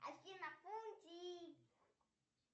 афина фунтик